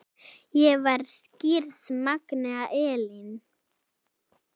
Ég var skírð Magnea Elín.